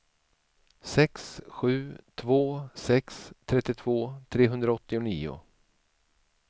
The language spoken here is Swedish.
sex sju två sex trettiotvå trehundraåttionio